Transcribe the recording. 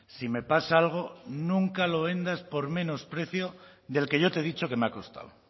si me pasa algo nunca lo vendas por menos precio del que yo te he dicho que me ha costado